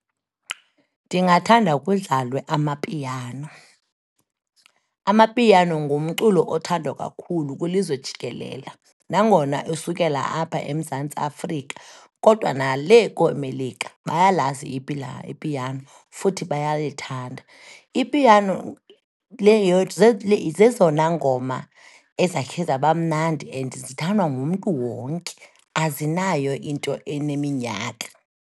Ndingathanda kudlalwe amapiano, amapiano ngumculo othandwa kakhulu kwilizwe jikelele. Nangona usukela apha eMzantsi Afrika kodwa nalee kooMelika bayalazi ipiano futhi bayalithanda. Ipiano zezona ngoma ezakhe zabamnandi and lithandwa ngumntu wonke, azinayo into eneminyaka.